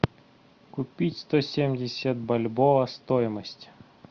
купить сто семьдесят бальбоа стоимость